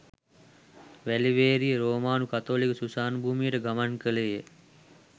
වැලිවේරිය රෝමානු කතෝලික සුසාන භූමියට ගමන් කළේය